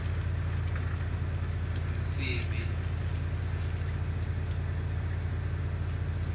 msibi